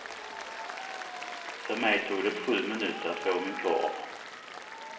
För mig tog det sju minuter att få min korv.